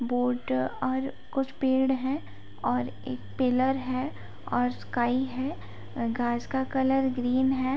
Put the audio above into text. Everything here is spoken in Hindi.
बोर्ड और कुछ पेड़ हैं और एक पिलर है और स्काई है। घास का कलर ग्रीन है।